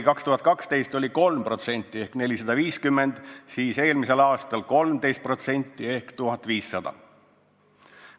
2012 oli neid 3% ehk 450, seevastu eelmisel aastal 13% ehk 1500.